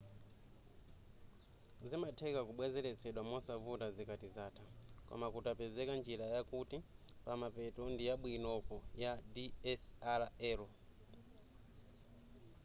zimatheka kubwenzeletsedwa mosavuta zikati zatha koma kutapezeka njira yakuti pamenepo ndiyabwinoko ya dslr